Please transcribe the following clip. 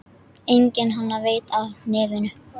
Enginn annar veit af nefinu.